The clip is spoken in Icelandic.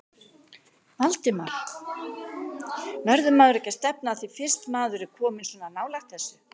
Valdimar: Verður maður ekki að stefna að því fyrst maður er kominn svona nálægt þessu?